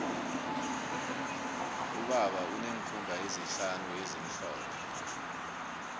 ubaba uneenkhumbi ezihlanu ezimhlophe